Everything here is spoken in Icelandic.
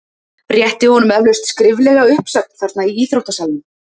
Rétti honum eflaust skriflega uppsögn þarna í íþróttasalnum?